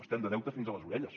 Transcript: estem de deute fins a les orelles